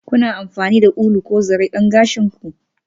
Kuna amfani da ulu ko zare don gashin ku?